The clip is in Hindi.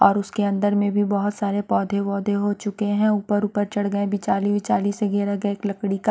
और उसके अंदर में भी बहुत सारे पौधे वौधे हो चुके हैं ऊपर ऊपर चढ़ गए बिचाली विचाली से घेरा गए एक लकड़ी का --